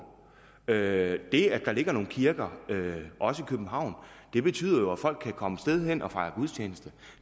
det at der ligger nogle kirker også i københavn betyder jo at folk kan komme et sted hen og fejre gudstjeneste